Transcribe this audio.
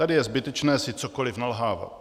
Tady je zbytečné si cokoli nalhávat.